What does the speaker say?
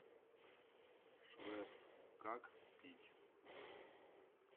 швепс как пить